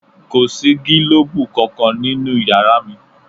Kò sí gílòbú kankan nínú yàrá mi